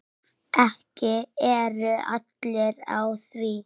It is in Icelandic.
Ekki eru allir á því.